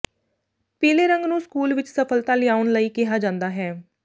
ਪੀਲੇ ਰੰਗ ਨੂੰ ਸਕੂਲ ਵਿਚ ਸਫਲਤਾ ਲਿਆਉਣ ਲਈ ਕਿਹਾ ਜਾਂਦਾ ਹੈ